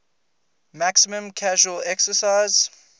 maximum casual excise